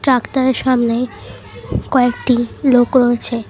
সামনে কয়েকটি লোক রয়েছে।